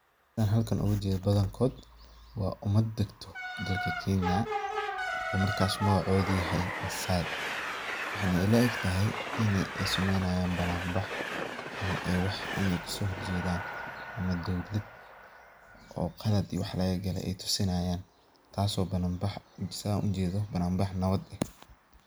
Setha halkan UGA jeedoh bathankoot, wa umaad degtoh, dadka Kenya oo markas magacootha oo yahay massay waxa ila egtahay ini ay sameeynahayin bananbax amah ini wax kaso horjeethan, amah dowlaat oo Qalat iyo wax laga kalay toosinayin taasi bananbax setha u jeedoh bananbax nawatheet eh.